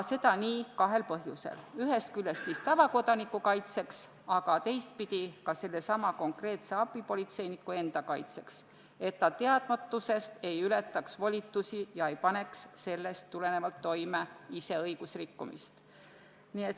Seda kahel põhjusel: ühest küljest tavakodaniku kaitseks, aga teisest küljest sellesama abipolitseiniku enda kaitseks, et ta teadmatusest ei ületaks volitusi ega paneks toime õigusrikkumist.